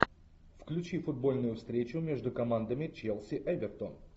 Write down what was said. включи футбольную встречу между командами челси эвертон